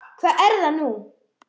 Hvað er það nú?